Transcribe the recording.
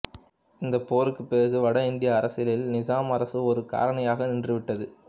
இந்த போருக்குப் பிறகு வட இந்திய அரசியலில் நிசாம் அரசு ஒரு காரணியாக நின்றுவிட்டது